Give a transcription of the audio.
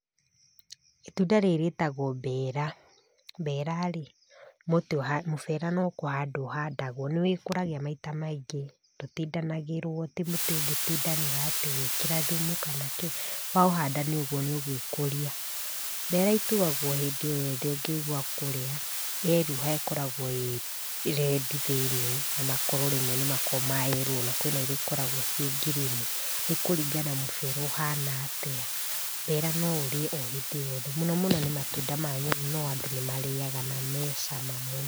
Itunda rĩrĩ rĩtagwo mbera, mbera rĩ mũtĩ wa mũbera nĩ kũhanda ũhandagwo nĩ wĩkũragia maita maingĩ ndũtinagĩrwo tĩ mũtĩ ũngĩtinfanĩra ũgĩkĩra thumu kana kĩ, wahanda nĩ ũguo nĩũgwĩkũrĩa, mbera ituagwo hĩndĩ oyothe ũngĩigua kũrĩa yeruha ĩkoragwo ĩredi thĩinĩ nakoro rĩmwe nĩ makoragwa mayellow na kwĩna cingĩ ikoragwo ci ngirini ,nĩ kũrĩngana mũbera ũhana atĩa, mbera noũrĩe ohĩndĩ rĩothe mũnomũno nĩ matunda ma nyoni no andũ nĩmarĩaga na mecama mũno.